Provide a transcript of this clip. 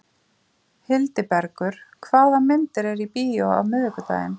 Hildibergur, hvaða myndir eru í bíó á miðvikudaginn?